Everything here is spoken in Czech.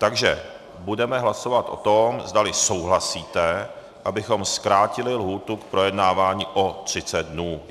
Takže budeme hlasovat o tom, zdali souhlasíte, abychom zkrátili lhůtu k projednávání o 30 dnů.